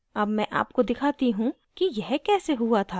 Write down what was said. अब मैं आपको दिखाती how की यह कैसे हुआ था